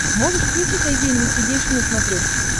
можешь включить айди инвестигейшн на смотрешке